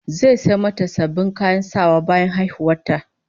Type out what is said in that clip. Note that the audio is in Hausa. Zai sayo mata sabbin kayan sawa bayan haihuwar ta